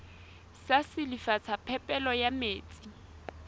sa silafatsa phepelo ya metsi